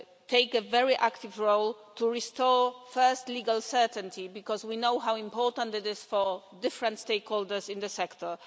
to take a very active role to restore, firstly, legal certainty, because we know how important it is for different stakeholders in the sector